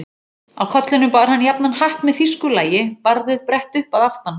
Á kollinum bar hann jafnan hatt með þýsku lagi, barðið brett upp að aftan.